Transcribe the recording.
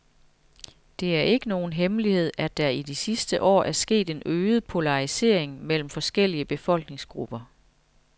Det er ikke nogen hemmelighed, at der i de sidste år er sket en øget polarisering mellem forskellige befolkningsgrupper.